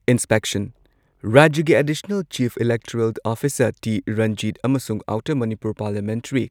Inspection ꯔꯥꯖ꯭ꯌꯒꯤ additional chief electoral officer T. Ranjit ꯑꯃꯁꯨꯡ outer Manipur parliamentary